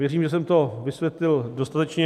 Věřím, že jsem to vysvětlil dostatečně.